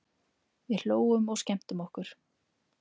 Við hlógum og skemmtum okkur.